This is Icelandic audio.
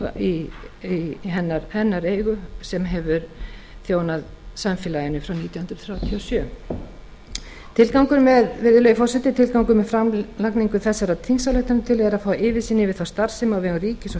verslun í hennar eigu sem hefur þjónað samfélaginu frá nítján hundruð þrjátíu og sjö virðulegi forseti tilgangur með framlagningu þessarar þingsályktunartillögu er að fá yfirsýn yfir þá starfsemi á vegum ríkis og